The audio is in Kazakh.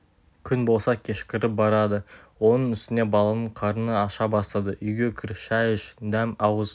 күн болса кешкіріп барады оның үстіне баланың қарны аша бастады үйге кір шәй іш дәм ауыз